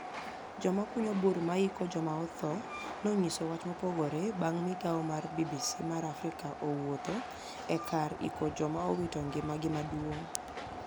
Joma kuniyo bur ma iiko joma otho noyniiso wach mopogore banig migao mar AniC BBC ma Africa wuotho ekar iko joma owito nigimagi maduonig.